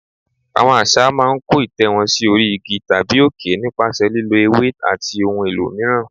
Àwọn Àṣá máa ń kó ìtẹ́ wọn sí orí igi tàbí òkè nípasẹ̀ lílọ ewé àti ohun èlò mìíràn.